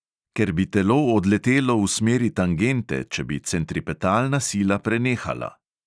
Ker bi telo odletelo v smeri tangente, če bi centripetalna sila prenehala.